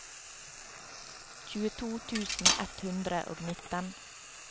tjueto tusen ett hundre og nitten